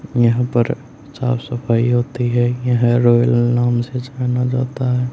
यहां पर साफ सफाई होती है यह रॉयल नाम से जाना जाता है।